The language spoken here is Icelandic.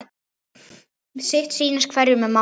Sitt sýnist hverjum um málið.